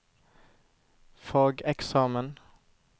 fageksamen